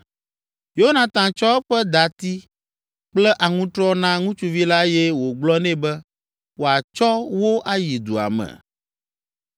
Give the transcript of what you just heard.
Yonatan tsɔ eƒe dati kple aŋutrɔ na ŋutsuvi la eye wògblɔ nɛ be wòatsɔ wo ayi dua me.